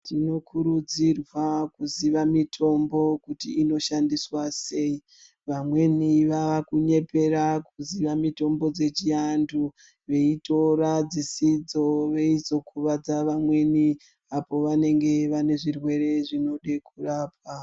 Zvinokurudzirwa kuziva mitombo kuti inoshandiswa sei vamweni vakunyepera kuziye mitombo dzechiantu veitora dzisidzo veizokuwadza vamweni apo vanenge vane zvirwere zvinoda kurapwa.